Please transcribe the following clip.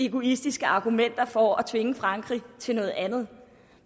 egoistiske argumenter for at tvinge frankrig til noget andet